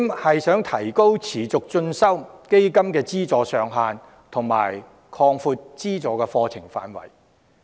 第四，提高持續進修基金的資助上限，以及擴闊資助範圍。